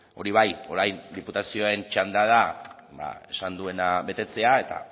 hori bai orain diputazioen txanda da esan duena betetzea eta